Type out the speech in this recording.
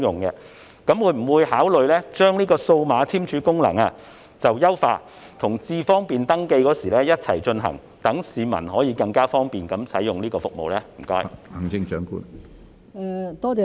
請問政府會否考慮優化數碼簽署功能，在登記"智方便"時一併進行，讓市民能更方便地使用這項服務呢？